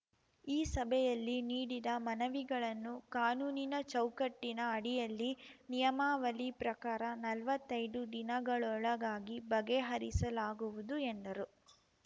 ಈ ಸಭೆಯಲ್ಲಿ ನೀಡಿದ ಮನವಿಗಳನ್ನು ಕಾನೂನಿನ ಚೌಕಟ್ಟಿನ ಅಡಿಯಲ್ಲಿ ನಿಯಾಮವಳಿ ಪ್ರಕಾರ ನಲ್ವತ್ತೈದು ದಿನಗಳೊಳಗಾಗಿ ಬಗೆಹರಿಸಲಾಗುವುದು ಎಂದರು